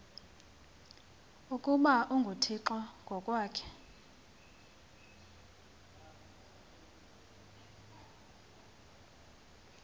ukuba unguthixo ngokwakhe